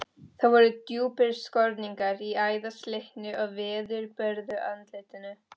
Það voru djúpir skorningar í æðaslitnu og veðurbörðu andlitinu.